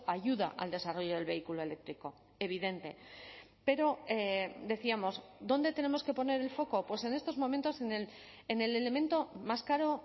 ayuda al desarrollo del vehículo eléctrico evidente pero decíamos dónde tenemos que poner el foco pues en estos momentos en el elemento más caro